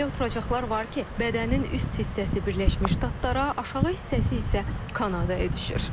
Elə oturacaqlar var ki, bədənin üst hissəsi Birləşmiş Ştatlara, aşağı hissəsi isə Kanadaya düşür.